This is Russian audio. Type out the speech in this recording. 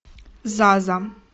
заза